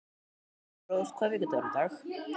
Elírós, hvaða vikudagur er í dag?